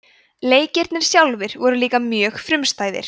leikirnir sjálfir voru líka mjög frumstæðir